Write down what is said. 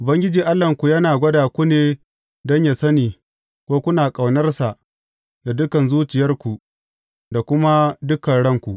Ubangiji Allahnku yana gwada ku ne don yă sani ko kuna ƙaunarsa da dukan zuciyarku da kuma dukan ranku.